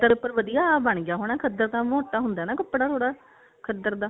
ਖੱਦਰ ਉੱਪਰ ਵਧੀਆ ਬਣ ਗਿਆ ਹੋਣਾ ਖੱਦਰ ਤਾਂ ਮੋਟਾ ਹੁੰਦਾ ਕੱਪੜਾ ਥੋੜਾ ਖੱਦਰ ਦਾ